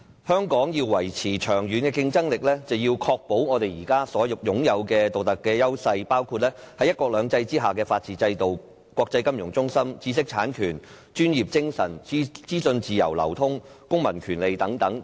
香港要維持長遠的競爭力，便必須維持現時所擁有的獨特優勢，包括在"一國兩制"之下的法治制度、國際金融中心地位、知識產權制度、專業精神、資訊自由流通和公民權利等。